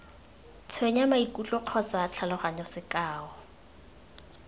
tshwenya maikutlo kgotsa tlhaloganyo sekao